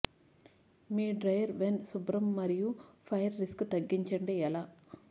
మీ dryer vent శుభ్రం మరియు fire risk తగ్గించండి ఎలా